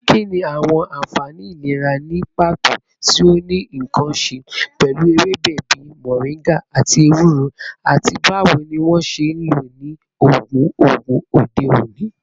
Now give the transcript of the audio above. Kini awọn anfani ilera ni pato ti o ni nkan ṣe pẹlu ewebe bii moringa ati ewuro, ati bawo ni wọn ṣe nlo ni oogun oogun ode oni?